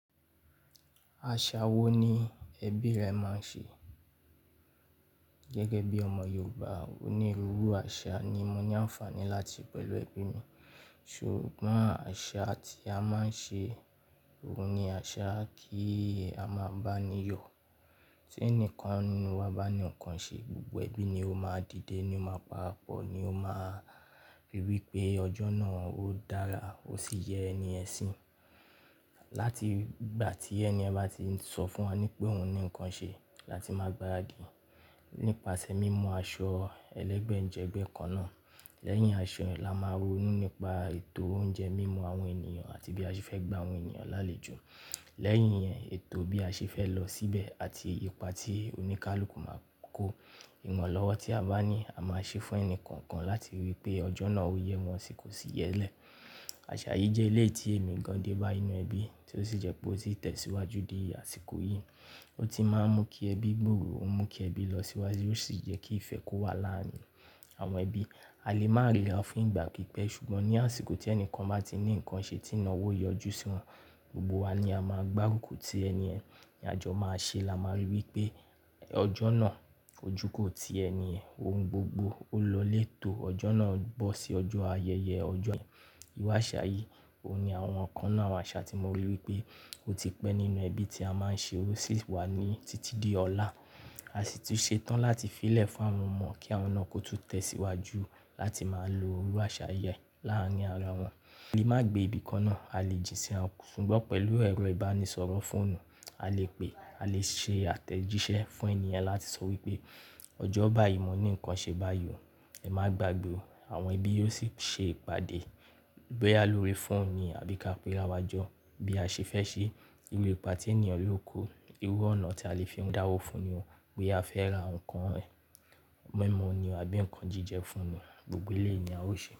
Àṣà wo ni ẹbí rẹ máa ń ṣe? Gẹ́gẹ́ bí ọmọ Yorùbá onírúurú àṣà ni mo ní àǹfààní láti pẹ̀lú ẹbí mi. Ṣùgbọ́n àṣà tí a máa ń ṣe, òun ni àṣà kí a máa bá ni yọ. Tí ẹnìkan nínú wa bá ní nǹkan ṣe, gbogbo ẹbí ni ó máa dìde, ni ó máa parapọ̀ ni ó máa ri wí pé ọjọ́ náà ó dára ó sì yẹ ẹni yen si. Látìgbà tí ẹni ẹ bá ti sọ fún wa ní pé òun ní nǹkan ṣe láti máa gbáradi. Nípasẹ̀ mímú aṣọ ẹlẹ́gbẹ̀jẹgbẹ́ kan náà. Lẹ́yìn aṣọ yen, ni a máa ronú nípa ètò oúnjẹ, mímú àwọn ènìyàn àti bí a ṣe fẹ́ gbá àwọn ènìyàn lálejò. Lẹ́yìn yẹn, ètò bí a ṣe fẹ́ lọ síbẹ̀ àti ipa tí oníkálukú máa kó. Ìwọ̀n lọ́wọ́ tí a bá ní a máa ṣe fún ẹni kọ̀ọ̀kan láti rí i pé ọjọ́ náà ó yẹ wọ́n sì kò sì yẹlẹ̀. Àṣà yìí jẹ́ ilé tí èmi gan dé bá ninú ẹbí tí ó sì jẹ́ pé ó sì tẹ̀síwájú di àsìkò yìí. Ó ti máa ń mú kí ẹbí gbòòrò, ó ń mú kí ẹbí lọ síwájú ó sì jẹ́ kí ìfẹ́ kó wà láàárín àwọn ẹbí. A lè máa rírà fún ìgbà pípẹ́ ṣùgbọ́n ní àsìkò tí ẹnìkan bá ti ní nǹkan ṣe tí ìnáwó yọjú sí wọ́n, gbogbo wa ni a máa gbárùkù tí ẹni yen, ni àjọ máa ṣe la máa rí i wí pé ọjọ́ náà ojú kò tí ẹni yen, ohun gbogbo ó lọléètò, ọjọ́ náà bọ́ sí ọjọ́ ayẹyẹ ọjọ́ yẹn. Iru àṣà yìí, òun ni àwọn nkan nínú àwọn àṣà tí mo rí i wí pé ó ti pẹ́ nínú ẹbí tí a máa ń ṣe ó sì wà ní títí di ọ̀la. A sì tún ṣetán láti fí lẹ̀ fún àwọn ọmọ kí àwọn náà kó tún tẹ̀ síwájú láti máa lo irú àṣà yìí láàárín ara wọn. A lè má gbé ibi kan náà, a lè jín síra, ṣùgbọ́n pẹ̀lú ẹ̀rọ ìbánisọ̀rọ̀ fóònù, a lè pé, a lè ṣe àtẹ̀jíṣẹ́ fún ènìyàn láti sọ wí pé ọjọ́ báyìí mo ní nǹkan ṣe báyìí o, ẹ má gbàgbé o. Àwọn ẹbí yóò sì ṣe ìpàdé bóyá lórí fóònù ni àbí ká pẹ́ ráwájọ, bí a ṣe fẹ́ ṣe. Irú ipa tí ènìyàn le kó, irú ọ̀nà tí a lè fi dáwọ́ fún ni o, bóyá a fẹ́ ra ǹkan mímú ni o àbí nǹkan jíjẹ fún ni, gbogbo iléyii ni a ó ṣe.